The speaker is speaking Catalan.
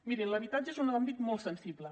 mirin l’habitatge és un àmbit molt sensible